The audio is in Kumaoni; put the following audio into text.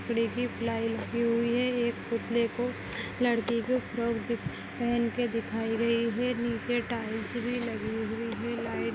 पीछे प्लाई लगी हुई है एक पुतले को लड़की को फ्रॉक पहन के दिखाई गई है निचे टाइल्स भी लगी हुई है लाइट --